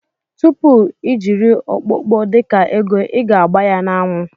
Tupu ijiri okpokpo dika ego iga agba ya na anwụ.